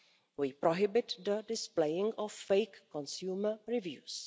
We prohibit the displaying of fake consumer reviews.